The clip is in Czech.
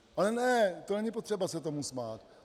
Ale ne, to není potřeba se tomu smát.